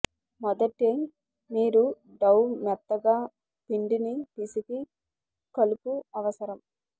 మొదటి మీరు డౌ మెత్తగా పిండిని పిసికి కలుపు అవసరం